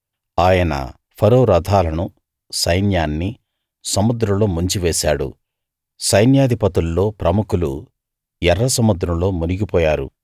ఆయన ఫరో రథాలను సైన్యాన్ని సముద్రంలో ముంచివేశాడు సైన్యాధిపతుల్లో ప్రముఖులు ఎర్ర సముద్రంలో మునిగిపోయారు